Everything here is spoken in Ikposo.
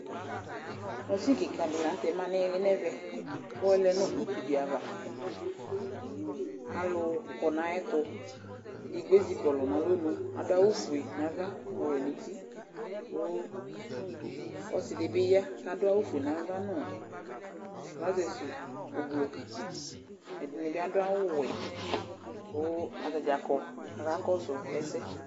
Mashini ƙɩƙa dɩ lanʊtɛ ma ŋʊ ɩlɩ ŋɛʋɛ, ɔlɛ ŋʊ ʊtʊ dɩ aʋa Alʊ ƙɔ ŋaƴɛtʊ Edɩgbo ezɩƙɔlɔ ŋalɔnʊ, adʊvawʊ fʊe ŋaʋa ŋʊ ɔwɛ ŋʊtɩ, ku ɔsɩ dibi ya kadu awʊ fue nava nu trɔzes ʊblɔ Ɛdini bi adu awʊ wɛ kʊ atadzavƙɔ ka kɔsʊ ɛsɛ